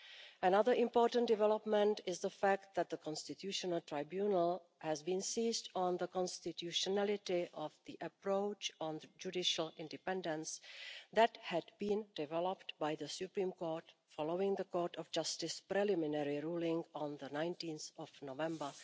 Another important development is the fact that the Constitutional Tribunal has been seized on the constitutionality of the approach on judicial independence that had been developed by the Supreme Court following the Court of Justice preliminary ruling on 19 November